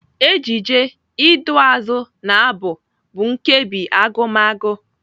Ejije, iduuazụ na Abụ bụ nkebi Agụmagụ.